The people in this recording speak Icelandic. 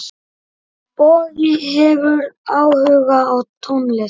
Bogi hefur áhuga á tónlist.